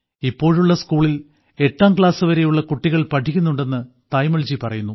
ഇപ്പോഴുള്ള സ്കൂളിൽ എട്ടാം ക്ലാസ്സ് വരെയുള്ള കുട്ടികൾ പഠിക്കുന്നുണ്ടെന്ന് തായമ്മാൾജി പറയുന്നു